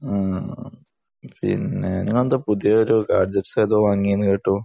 ആഹ് പിന്നെ നിങ്ങളെന്താ പുതിയൊരു ഗാഡ്ജറ്റ്‌സ് ഒക്കെ വാങ്ങി എന്ന് കേട്ടു